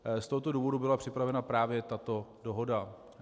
Z tohoto důvodu byla připravena právě tato dohoda.